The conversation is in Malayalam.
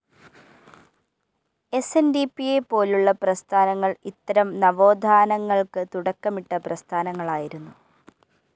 എസ്എൻഡിപിയെ പോലുളള പ്രസ്ഥാനങ്ങൾ ഇത്തരം നവോത്ഥാനങ്ങൾക്ക് തുടക്കമിട്ട പ്രസ്ഥാനങ്ങളായിരുന്നു